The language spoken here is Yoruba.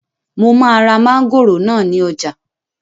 Mo máa ra mángòrò náà ní ọjà